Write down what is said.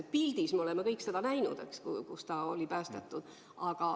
Telepildis me oleme kõik näinud, et ta oli päästetud.